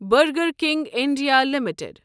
burger King India limited